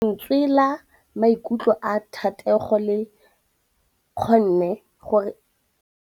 Lentswe la maikutlo a Thategô le kgonne gore re lemosa botlhoko jwa pelô ya gagwe.